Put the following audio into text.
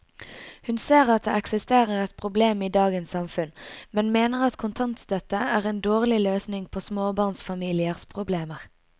Hun ser at det eksisterer et problem i dagens samfunn, men mener at kontantstøtte er en dårlig løsning på småbarnsfamiliers problemer.